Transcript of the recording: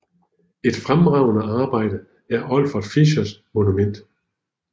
Et fremragende arbejde er Olfert Fischers Monument